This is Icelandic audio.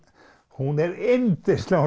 hún er yndisleg